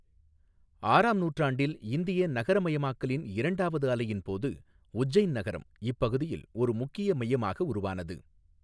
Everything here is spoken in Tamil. ஆறாம் நூற்றாண்டில் இந்திய நகரமயமாக்கலின் இரண்டாவது அலையின் போது உஜ்ஜைன் நகரம் இப்பகுதியில் ஒரு முக்கிய மையமாக உருவானது.